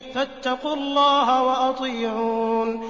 فَاتَّقُوا اللَّهَ وَأَطِيعُونِ